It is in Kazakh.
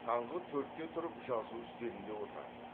таңғы төртте тұрып жазу үстелінде отыратын